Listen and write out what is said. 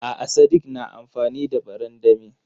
A'a sadik na amfani da barandami.